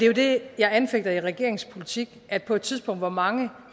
jo det jeg anfægter i regeringens politik at på et tidspunkt hvor mange